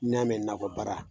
N'i y'a mɛn nakɔ baara.